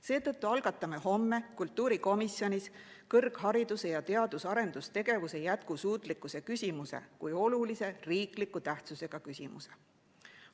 Seetõttu algatame homme kultuurikomisjonis kõrghariduse ning teadus‑ ja arendustegevuse jätkusuutlikkuse kui olulise tähtsusega riikliku küsimuse.